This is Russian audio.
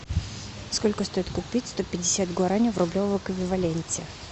сколько стоит купить сто пятьдесят гуарани в рублевом эквиваленте